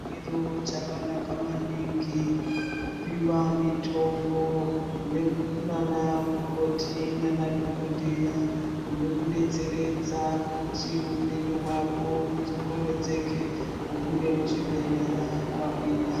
Chiro chakanaka maningi kupiwa mitombo nana mukoti nemadhogodheya nekubetseredza kuti hupenyu hwako hudzokoredzeke ubude muzvibhedhlera wagwiya.